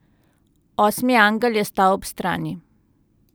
Osmi angel je stal ob strani.